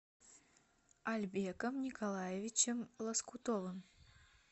альбеком николаевичем лоскутовым